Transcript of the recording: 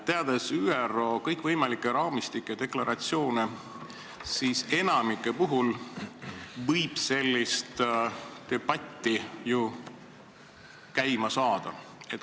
Teades ÜRO kõikvõimalikke raamistikke ja deklaratsioone, enamiku puhul võib ju sellise debati käima tõmmata.